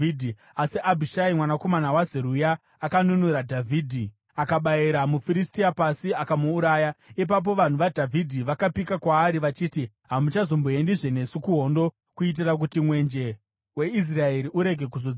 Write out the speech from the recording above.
Asi Abhishai mwanakomana waZeruya akanunura Dhavhidhi; akabayira muFiristia pasi akamuuraya. Ipapo vanhu vaDhavhidhi vakapika kwaari vachiti, “Hamuchazomboendizve nesu kuhondo, kuitira kuti mwenje weIsraeri urege kuzodzimwa.”